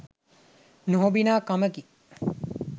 නොහොබිනා කමකි.